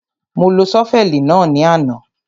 Mo lo ṣọ́fẹ̀lì náà ní àná.